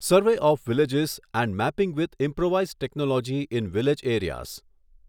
survey of villages and mapping with improvised technology in village areas